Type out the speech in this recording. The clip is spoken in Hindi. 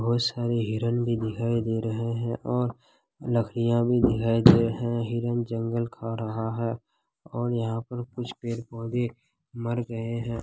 बहुत सारे हिरण भी दिखाई दे रहे है और लकड़िया भी दिखाई दे रहे है हिरण जंगल खा रहा है और यहाँ पर कुछ पेड़-पौधे मर गए है।